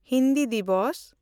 Hindi Diwas